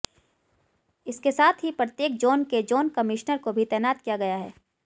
इसके साथ ही प्रत्येक जोन के जोन कमिश्नर को भी तैनात किया गया है